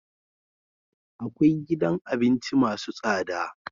akwai gidan abinci masu tsada